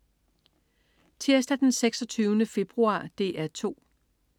Tirsdag den 26. februar - DR 2: